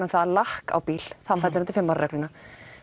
um að lakk á bíl fellur undir fimm ára regluna